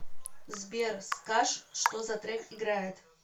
сбер скаж что за трек играет